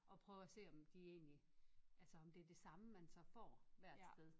At prøve at se om de egentlig altså om det er det samme man så får hvert sted